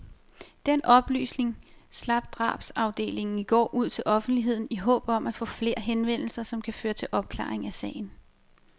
Den oplysning slap drabsafdelingen i går ud til offentligheden i håb om at få flere henvendelser, som kan føre til opklaring af sagen.